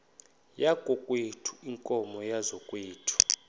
yakokwethu iinkomo zakokwethu